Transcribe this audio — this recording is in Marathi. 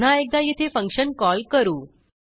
पुन्हा एकदा येथे फंक्शन कॉल करू